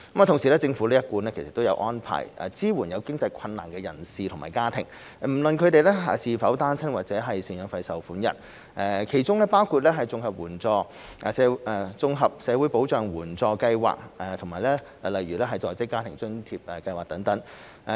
同時，政府一貫有安排支援有經濟困難的人士及家庭，不論他們是否單親或贍養費受款人，其中包括綜合社會保障援助計劃及在職家庭津貼計劃。